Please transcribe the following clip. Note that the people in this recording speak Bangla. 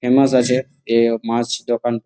ফেমাস আছে এ মাছ দোকান।